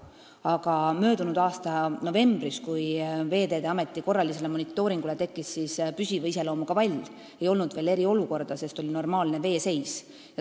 Aga möödunud aasta novembris, kui Veeteede Ameti korralise monitooringu tulemusel selgus, et on tekkinud püsiva iseloomuga vall, ei olnud veel eriolukorda, sest oli normaalne veeseis.